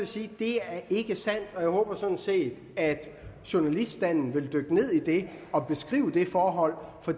sige det er ikke sandt jeg håber sådan set at journaliststanden vil dykke ned i det og beskrive det forhold for